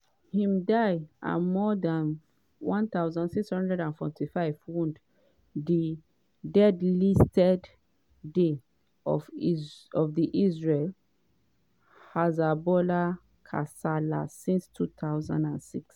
im die and more dan 1645 wound - di deadliest day of di israel-hezbollah kasala since 2006.